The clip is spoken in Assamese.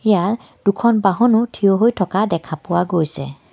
ইয়াত দুখন বহনো থিয় হৈ থকা দেখা পোৱা গৈছে.